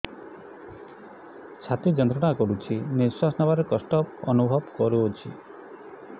ଛାତି ଯନ୍ତ୍ରଣା କରୁଛି ନିଶ୍ୱାସ ନେବାରେ କଷ୍ଟ ଅନୁଭବ କରୁଛି